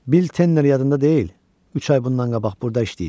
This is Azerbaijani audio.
Bil Tenner yadında deyil, üç ay bundan qabaq burda işləyib?